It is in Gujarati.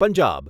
પંજાબ